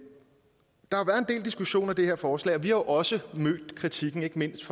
del diskussion af det her forslag og vi har også mødt kritikken ikke mindst